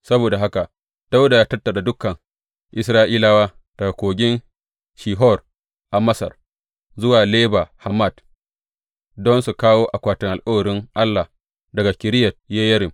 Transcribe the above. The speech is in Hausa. Saboda haka Dawuda ya tattara dukan Isra’ilawa, daga Kogin Shihor a Masar zuwa Lebo Hamat, don su kawo akwatin alkawarin Allah daga Kiriyat Yeyarim.